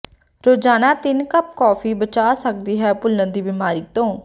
ਰੋਜ਼ਾਨਾ ਤਿੰਨ cup coffee ਬਚਾਅ ਸਕਦੀ ਭੁੱਲਣ ਦੀ ਬਿਮਾਰੀ ਤੋਂ